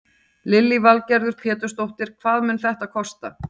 Lillý Valgerður Pétursdóttir: Hvað mun þetta kosta?